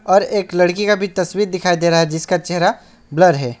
और एक लड़की का भी तस्वीर दिखाई दे रहा है जिसका चेहरा ब्लर है।